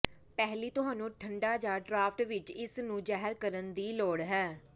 ਪਹਿਲੀ ਤੁਹਾਨੂੰ ਠੰਢਾ ਜ ਡਰਾਫਟ ਵਿੱਚ ਇਸ ਨੂੰ ਜ਼ਾਹਿਰ ਕਰਨ ਦੀ ਲੋੜ ਹੈ